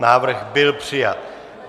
Návrh byl přijat.